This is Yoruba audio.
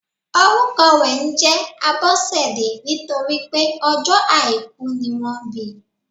Orúkọ rè njé Abósèdé nítorípé ọjó àìkú ni wọ́n bi